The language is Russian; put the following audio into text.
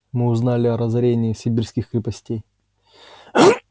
мы узнали о разорении сибирских крепостей